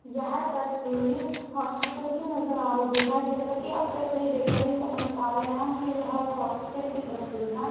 यह तस्वीर हॉस्पिटल की नजर आ रही है जैसा कि आप तस्वीर देख कर ही समझ पा रहे हैं कि यह एक हॉस्पिटल की तस्वीर है।